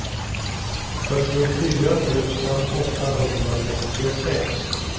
fyrtiofyra tusen åttahundrasextiosex